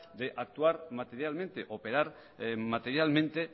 de actuar materialmente operar materialmente